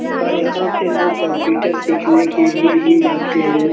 और यहाँ पे लोग कंप्यूटर सीखने के लिए ही जाते हैं।